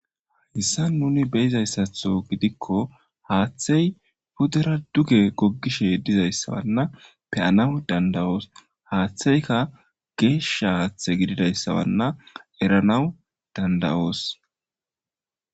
Hagissan nuni beyizayssatho gidikko haaththey pudera duge goggishe dizayssawanna peyanaw dandawoos haaththeyka geesha haaththe gididayssawanna eranaw dandawoos